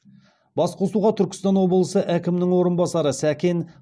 басқосуға түркістан облысы әкімінің орынбасары сәкен